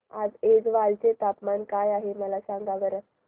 आज ऐझवाल चे तापमान काय आहे सांगा बरं